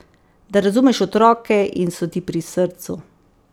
Da razumeš otroke in so ti pri srcu.